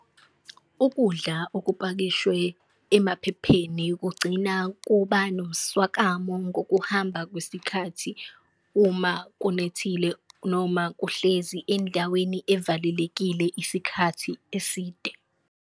Ukudla okupakishwe emaphepheni kugcina kuba nomswakamo ngokuhamba kwesikhathi uma kunethile, noma kuhlezi endaweni evalelekile isikhathi eside.